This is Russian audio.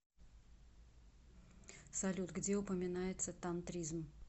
салют где упоминается тантризм